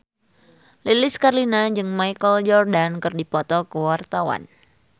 Lilis Karlina jeung Michael Jordan keur dipoto ku wartawan